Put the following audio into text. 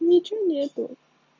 ничего нет